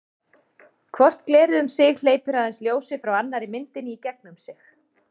hvort glerið um sig hleypir aðeins ljósi frá annarri myndinni í gegnum sig